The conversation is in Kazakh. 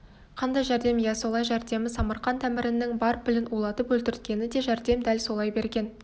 қандай жәрдем иә солай жәрдемі самарқант әмірінің бар пілін улатып өлтірткені да жәрдем дәл солай берген